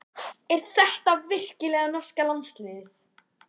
Er þetta virkilega norska landsliðið?